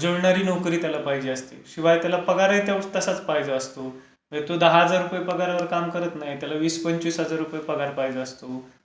जुळणारी नोकरी त्याला पाहिजे असते. किंवा त्याला पगारही तसाच पाहिजे असतो. म्हणजे तो दहा हजार रुपये पगारावर काम करत नाही. त्याला वीस पंचवीस हजार रुपये पगार पाहिजे असतो. मग